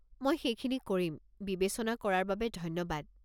মই সেইখিনি কৰিম, বিবেচনা কৰাৰ বাবে ধন্যবাদ।